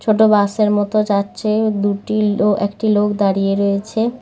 ছোট বাস -এর মতো যাচ্ছে দুটি লো একটি লোক দাঁড়িয়ে রয়েছে।